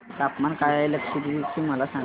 तापमान काय आहे लक्षद्वीप चे मला सांगा